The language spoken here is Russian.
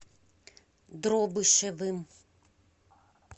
дробышевым